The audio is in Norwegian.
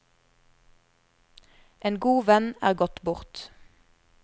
En god venn er gått bort.